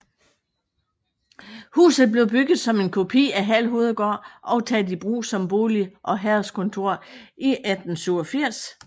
Huset blev bygget som en kopi af Hald Hovedgård og taget i brug som bolig og herredskontor i 1887